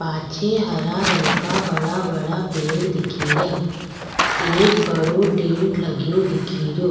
पाछे हरा रंग का बड़ा बड़ा पेड़ दिखेरा एक बड़ो टेंट लग्यो दिखेरो।